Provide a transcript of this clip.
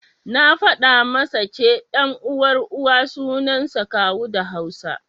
Na faɗa masa ce, ɗan uwan Uwa suansa Kawu da Hausa.